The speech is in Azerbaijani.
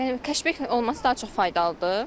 Keşbek olması daha çox faydalıdır.